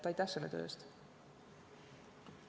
Aitäh selle töö eest!